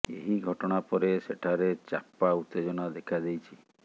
ଏହି ଘଟଣା ପରେ ସେଠାରେ ଚାପା ଉତ୍ତେଜନା ଦେଖା ଦେଇଛି